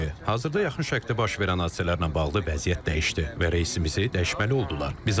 Hazırda yaxın şərqdə baş verən hadisələrlə bağlı vəziyyət dəyişdi və reysimizi dəyişməli oldular.